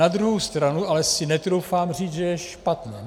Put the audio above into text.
Na druhou stranu si ale netroufám říct, že je špatné.